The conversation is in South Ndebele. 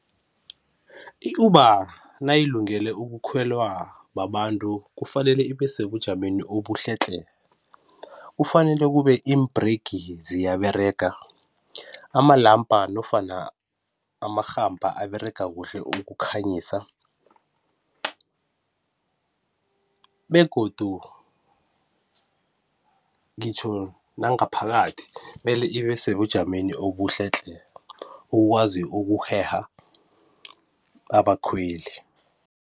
I-Uber nayilungele ukukhwelwa babantu kufanele ibesebujameni obuhle tle. Kufanele kube imbirigi ziyaberega amalampa nofana amarhampa aberega kuhle ukukhanyisa begodu ngitjho nangaphakathi kumele libe sebujameni obuhle tle. Ukukwazi ukuheha abakhweli.